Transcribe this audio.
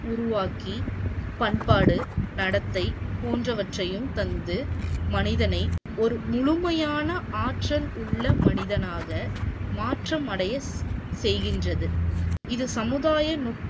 உருவாக்கி, பண்பாடு நடத்தை போன்றவற்றையும் தந்து, மனிதனை ஒரு முழுமையான ஆற்றல் உள்ள மனிதனாக மாற்றம் அடைய செய்கின்றது. இது சமுதாய